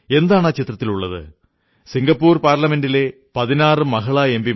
എന്താണ് ആ ചിത്രത്തിലുള്ളത് സിംഗപ്പൂർ പാർലമെന്റിലെ 16 മഹിളാ എം